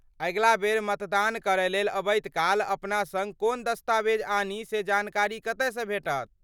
अगिला बेर मतदान करयलेल अबैत काल अपना सङ्ग कोन दस्तावेज आनी से जानकारी कतयसँ भेटत?